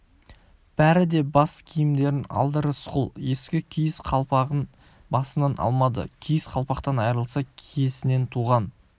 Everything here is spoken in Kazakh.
бәрі де бас киімдерін алды рысқұл ескі киіз қалпағын басынан алмады киіз қалпақтан айырылса киесінен туған